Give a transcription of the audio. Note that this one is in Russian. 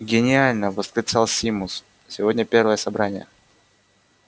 гениально восклицал симус сегодня первое собрание